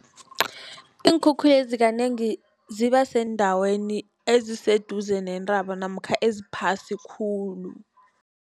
Iinkhukhulezi kanengi ziba seendaweni eziseduze nentaba namkha eziphasi khulu.